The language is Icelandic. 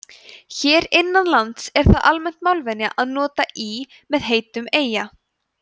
hér innanlands er það almenn málvenja að nota í með heitum eyja